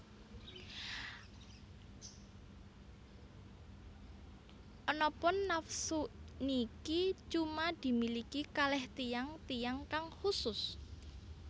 Anapun nafsu niki cuma dimiliki kaleh tiyang tiyang kang khusus